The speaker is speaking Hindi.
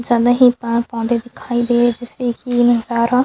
ज्यादा ही पेड़ पौधे दिखाई दे रहे है जैसे की नजारा--